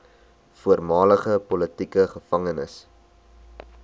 voormalige politieke gevangenes